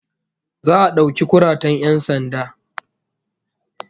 Za'a dauki kuratan 'yan sanda